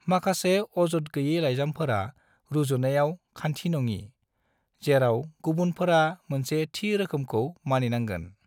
माखासे अजद गोयि लाइजामफोरा रुजुनायाव खान्थिनङि, जेराव गुबुनफोरा मोनसे थि रोखोमखौ मानिनांगोन।